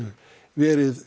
verið